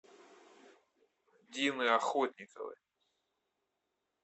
дины охотниковой